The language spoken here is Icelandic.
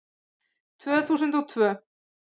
Tvö þúsund og tvö